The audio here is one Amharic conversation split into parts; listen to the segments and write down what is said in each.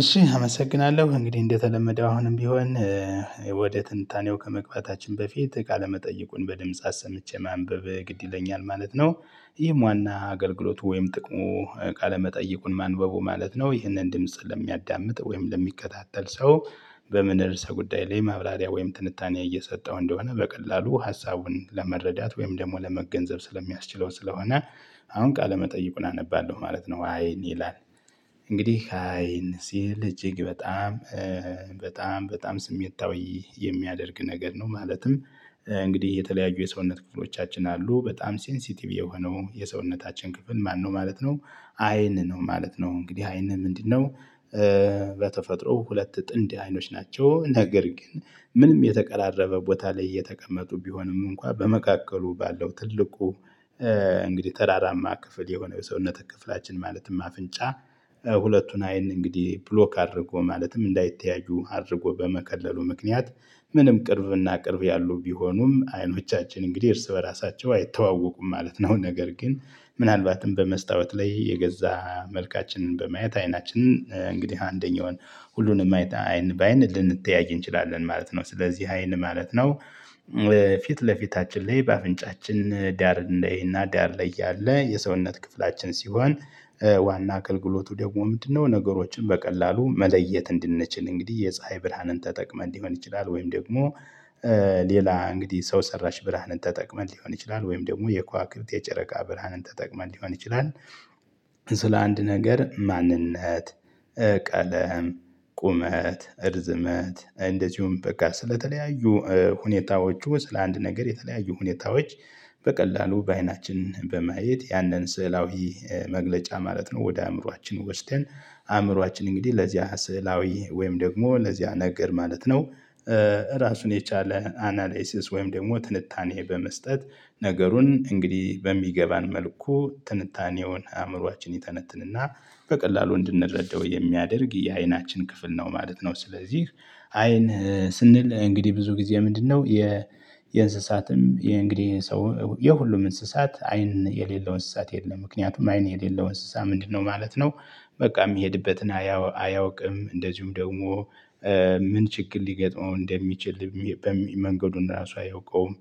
እሺ አመሰግናለሁ እንግዲህ እንደተለመደው አሁንም ቢሆን ወደ ትንታኔው ከመግባታችን በፊት ቃለመጠየቁን በድምጽ አሰምቼ ማንበብ ግድ ይለኛል ማለት ነው። ይህም ዋና አገልግሎቱ ወይም ጥቅሙ ቃለመጠይቁን ማንበቡ ማለት ነው ይህንን ድምጽ ለሚያዳምጥ ወይም ለሚከታተል ሰው በምን እርስ ጉዳይ ላይ ማብላሪያ ወይም ትንታኔ እየሰጠው እንደሆነ በቀላሉ ሀሳቡን ለመረዳት ወይም ደግሞ ለመገንዘብ ስለሚያስችለው ስለሆነ አሁን ቃል ለመጠየቁ አነባለሁ ማለት ነው። አይን ይላል እንግዲህ አይን ሲል እጅግ በጣም በጣም በጣም ስሜታዊ የሚያደርግ ነገር ነው ማለትም እንግዲህ የተለያዩ የሰውነት ክፍሎቻችን አሉ በጣም ሴንሲቲቭ የሆነው የሰውነታችን ክፍል ማነው ማለት ነው አይን ነው ማለት ነው። እንግዲህ አይን ምንድነው በተፈጥሮ ሁለት ጥንድ አይኖች ናቸው ነገር ግን ምንም የተቀራረበ ቦታ ላይ እየተቀመጡ ቢሆንም እንኳን በመካከሉ ባለው ትልቁ እንግዲህ ተራራማ ክፍል የሆነ የሰውነት ክፍላችን ማለትም አፍንጫ፣ ሁለቱን አይን እንግዲህ ብሎክ አድርጎ ማለትም እንዳይተያዩ አድርጎ በመቀለሉ ምክንያት ምንም ቅርብና ቅርብ ያሉ ቢሆኑም አይኖቻችን እንግዲህ እርስ በራሳቸው አይተዋወቁም ማለት ነው፤ ነገር ግን ምናልባትም በመስታወት ላይ የገዛ መልካችንን በማየት አይናችንን እንግዲህ አንደኛውን ሁሉንም አይን በአይን ልንተያይ እንችላለን ማለት ነው፣ ስለዚህ አይን ማለት ነው ፊት ለፊታችን ላይ በአፍንጫችን ዳር ላይ እና ዳር ላይ ያለ የሰውነት ክፍላችን ሲሆን ዋና አገልግሎቱ ደግሞ ምንድነው ነገሮችን በቀላሉ መለየት እንድንችል እንግዲህ የፀሀይ ብርሃንን ተጠቅመን ሊሆን ይችላል ወይም ደግሞ ሌላ እንግዲህ ሰው ሰራሽ ብርሃንን ተጠቅመን ሊሆን ይችላል ወይም ደግሞ የከዋክብት፣ የጨረቃ፣ ብርሃንን ተጠቅመን ሊሆን ይችላል ስለ አንድ ነገር ማንነት ቀለም ቁመት እርዝመት እንደዚሁም በቃ ስለተለያዩ ሁኔታዎቹ ስለአንድ ነገር የተለያዩ ሁኔታዎች በቀላሉ በአይናችን በማየት ያንን ስዕላዊ መግለጫ ማለት ነው ወደ አእምሮአችን ወስደን አእምሮአችን እንግዲህ ለዚያ ስዕላዊ ወይም ደግሞ ለዚያ ነገር ማለት ነው ራሱን የቻለ አናላይሲስ ወይም ደግሞ ትንታኔ በመስጠት ነገሩን እንግዲህ በሚገባን መልኩ ትንታኔውን አእምሮአችን ይተነትንና በቀላሉ እንድንረዳው የሚያደርግ የአይናችን ክፍል ነው ማለት ነው። ስለዚህ አይን ስንል እንግዲህ ብዙ ጊዜ ምንድነው የእንስሳትም የእንግዲህ ሰው የሁሉም እንስሳት አይን የሌለው እንስሳት የለም ምክንያቱም አይን የሌለውን እንስሳ ምንድነው ማለት ነው በቃ የሚሄድበትን አያውቅም እንደዚሁም ደግሞ ምን ችግር ሊገጥመው እንደሚችል መንገዱን ራሱ አያውቀውም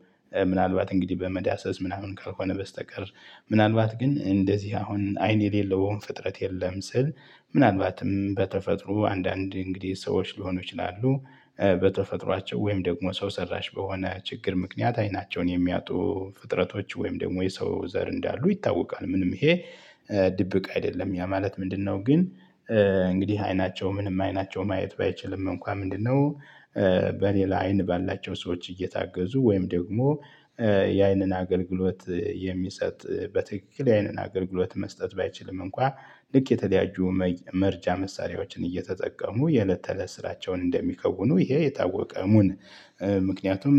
ምናልባት እንግዲህ በመዳሰስ ምናምን ከሆነ በስተቀር ምናልባት ግን እንደዚህ አሁን አይን የሌለውም ፍጥረት የለም ስል ምናልባትም በተፈጥሮ አንዳንድ እንግዲህ ሰዎች ሊሆኑ ይችላሉ በተፈጥሯቸው ወይም ደግሞ ሰው ሰራሽ በሆነ ችግር ምክንያት አይናቸውን የሚያጡ ፍጥረቶች ወይም ደግሞ የሰው ዘር እንዳሉ ይታወቃል ምንም ይሄ ድብቅ አይደለም ያ ማለት ምንድነው ግን እንግዲህ አይናቸው ምንም አይናቸው ማየት ባይችልም እንኳን ምንድነው በሌላ አይን ባላቸው ሰዎች እየታገዙ ወይም ደግሞ የአይንን አገልግሎት የሚሰጥ በትክክል የአይንን አገልግሎት መስጠት ባይችልም እንኳን ልክ የተለያየ መርጃ መሳሪያዎችን እየተጠቀሙ የእለት ተእለት ስራቸውን እንደሚከውኑ ይሄ የታወቀ እሙን ምክንያቱም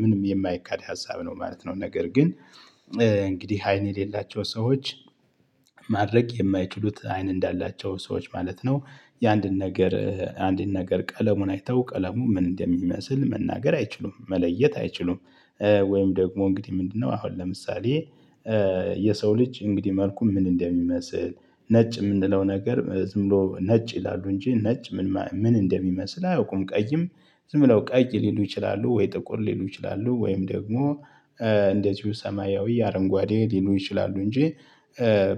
ምንም የማይካድ ሀሳብ ነው ማለት ነው፤ ነገር ግን እንግዲህ አይን የሌላቸው ሰዎች ማድረግ የማይችሉት አይን እንዳላቸው ሰዎች ማለት ነው የአንድን ነገር አንድን ነገር ቀለሙን አይተው ቀለሙ ምን እንደሚመስል መናገር አይችሉም መለየት አይችሉም። ወይም ደግሞ እንግዲህ ምንድነው አሁን ለምሳሌ የሰው ልጅ እንግዲህ መልኩ ምን እንደሚመስል ነጭ የምንለው ነገር ዝም ብሎ ነጭ ይላሉ እንጂ ነጭ ምን ምን እንደሚመስል አያውቁም ቀይም ዝም ብለው ቀይ ሊሉ ይችላሉ ወይ ጥቁር ሊሉ ይችላሉ ወይም ደግሞ እንደዚሁ ሰማያዊ አረንጓዴ ሊሉ ይችላሉ እንጂ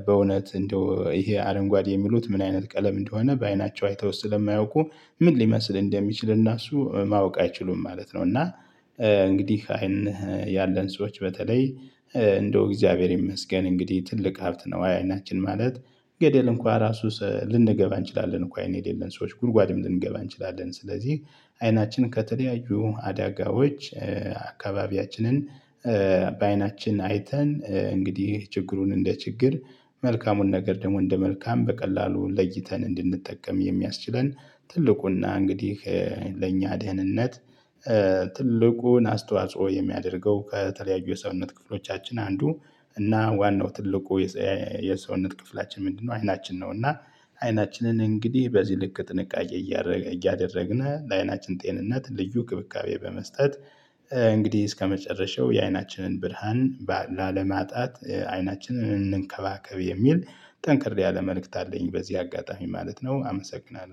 በእውነት እንደው ይሄ አረንጓዴ የሚሉት ምን አይነት ቀለም እንደሆነ በአይናቸው አይተው ስለማያውቁ ምን ሊመስል እንደሚችል እና እሱ ማወቅ አይችሉም ማለት ነው እና እንግዲህ አይን ያለን ሰዎች በተለይ እንደው እግዚአብሔር ይመስገን እንግዲህ ትልቅ ሀብት ነው አይናችን ማለት ገደል እንኳን ራሱ ልንገባ እንችላለን እኮ አይነት የሌለን ሰዎች ጉድጓድም ልንገባ እንችላለን ስለዚህ አይናችን ከተለያዩ አዳጋዎች አካባቢያችንን በአይናችን አይተን እንግዲህ ችግሩን እንደ ችግር መልካሙን ነገር ደግሞ እንደ መልካም በቀላሉ ለይተን እንድንጠቀም የሚያስችለን ትልቁና እንግዲህ ለእኛ ደህንነት ትልቁን አስተዋጽኦ የሚያደርገው ከተለያዩ የሰውነት ክፍሎቻችን አንዱ እና ዋናው ትልቁ የሰውነት ክፍላችን ምንድነው አይናችን ነው እና አይናችንን እንግዲህ በዚህ ልክ ጥንቃቄ እያደረግን ለአይናችን ጤንነት ልዩ እንክብካቤ በመስጠት እንግዲህ እስከመጨረሻው የአይናችንን ብርሃን ላለማጣት አይናችንን እንከባከብ የሚል ጠንክር ያለ መልእክት አለኝ በዚህ አጋጣሚ ማለት ነው አመሰግናለሁ።